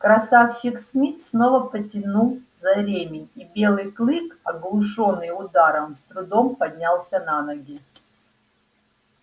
красавчик смит снова потянул за ремень и белый клык оглушённый ударом с трудом поднялся на ноги